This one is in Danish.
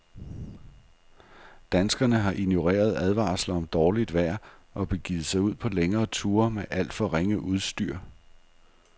Danskerne har ignoreret advarsler om dårligt vejr og begivet sig ud på længere ture med alt for ringe udstyr.